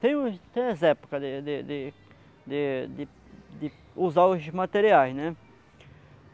Tem os as épocas de de de de de de usar os materiais, né?